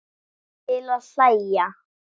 Til að hlæja.